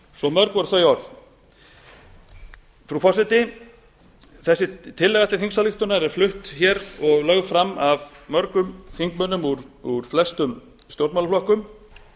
svo mörg voru þau orð frú forseti þessi tillaga til þingsályktunar er flutt og lögð fram af mörgum þingmönnum úr flestum stjórnmálaflokkum